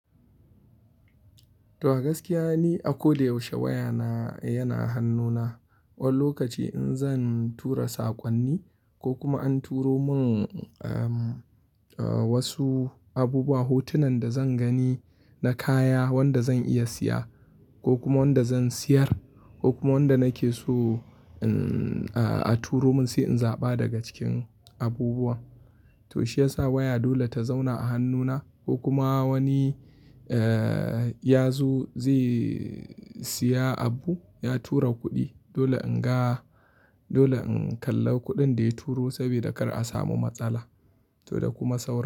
To gaskiya ni, a ko da yaushe waya na yana hannuna. Wani lokaci in zan tura saƙonni ko kuma an turo mun, eh, wasu abubuwa, hotunan da zan gani na kaya wanda zan iya siya ko kuma wanda zan siyar, ko kuma wanda nake so, eh, a turo mun sai in zaɓa daga cikin abubuwan. To shiyasa waya dole ta zauna a hannuna ko kuma wani, eh, ya zo zai siya abu ya tura kuɗi. Dole in ga, dole in kalla kuɗin da ya turo saboda kar a samu matsala, to da kuma saura.